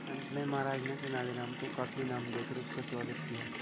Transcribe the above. अंत में महाराज ने तेनालीराम को काफी इनाम देकर उसका स्वागत किया